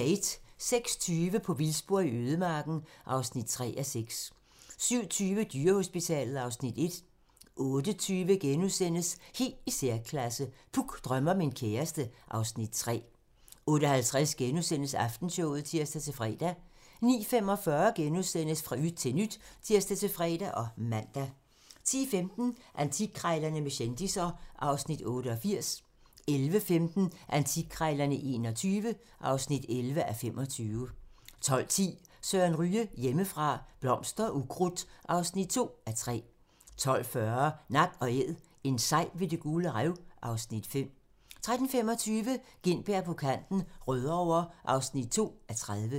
06:20: På vildspor i ødemarken (3:6) 07:20: Dyrehospitalet (Afs. 1) 08:20: Helt i særklasse - Puk drømmer om en kæreste (Afs. 3)* 08:50: Aftenshowet *(tir-fre) 09:45: Fra yt til nyt *(tir-fre og man) 10:15: Antikkrejlerne med kendisser (Afs. 88) 11:15: Antikkrejlerne XXI (11:25) 12:10: Søren Ryge: Hjemmefra - Blomster og ukrudt (2:3) 12:40: Nak & æd - en sej ved Det Gule Rev (Afs. 5) 13:25: Gintberg på kanten - Rødovre (2:30)